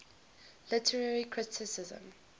literary criticism